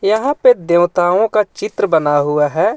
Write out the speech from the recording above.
यहाँ पे देवताओं का चित्र बना हुआ हे.